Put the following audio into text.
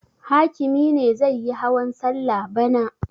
Hakimi ne zai yi hawan salla bana.